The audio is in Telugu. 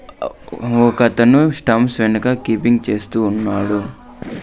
ఒక అతను స్టాంప్స్ వెనక కీపింగ్ చేస్తూ ఉన్నాడు.